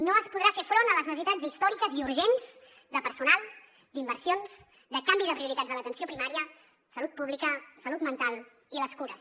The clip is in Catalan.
no es podrà fer front a les necessitats històriques i urgents de personal d’inversions de canvi de prioritats a l’atenció primària salut pública salut mental i cures